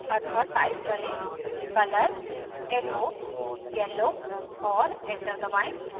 अतः type करें color echo yellow और enter दबाएं